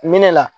Minɛ la